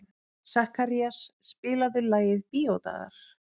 Sakarías, spilaðu lagið „Bíódagar“.